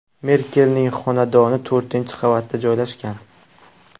Merkelning xonadoni to‘rtinchi qavatda joylashgan.